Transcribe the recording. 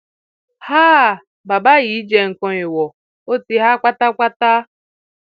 háà bàbá yìí jẹ nǹkan èèwọ ó ti há pátápátá